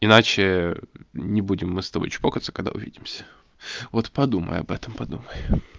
иначе не будем мы с тобой чпокаться когда увидимся вот подумай об этом подумай